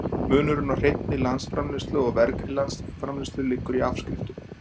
Munurinn á hreinni landsframleiðslu og vergri landsframleiðslu liggur í afskriftum.